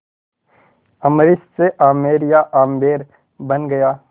अम्बरीश से आमेर या आम्बेर बन गया